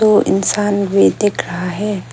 वो इंसान भी दिख रहा है।